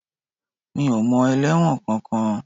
Mi ò mọ ẹlẹ́wọ̀n kankan